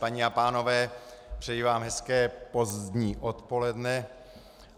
Paní a pánové, přeji vám hezké pozdní odpoledne.